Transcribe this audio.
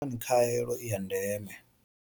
Ndi ngani khaelo i ya ndeme?